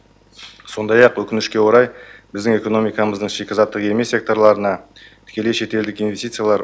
сондай ақ өкінішке орай біздің экономикамыздың шикізаттық емес секторларына тікелей шетелдік инвестициялар